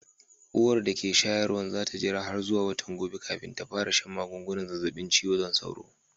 Uwar da ke shayarwan za ta jira har zuwa watan gobe kafin ta fara shan magungunan zazzabin cizon sauro.